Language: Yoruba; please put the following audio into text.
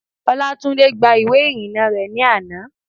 Olátúndé gba ìwé ìrìnnà rẹ̀ ní àná